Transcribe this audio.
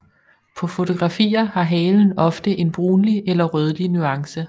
På fotografier har halen ofte en brunlig eller rødlig nuance